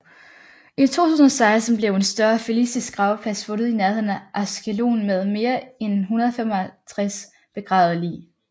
I 2016 blev en større filistisk gravplads fundet i nærheden af Ashkelon med mere en 150 begravede lig